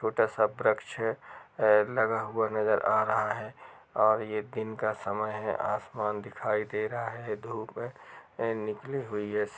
छोटा सा वृक्ष है। लगा हुआ नजर आ रहा है और यह दिन का समय है। आसमान दिखाई दे रहा है। धूप निकली हुई है।